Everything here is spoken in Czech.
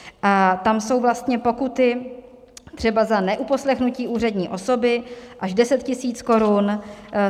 A tam jsou vlastně pokuty třeba za neuposlechnutí úřední osoby až 10 tisíc korun.